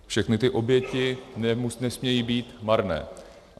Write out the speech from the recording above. Všechny ty oběti nesmějí být marné.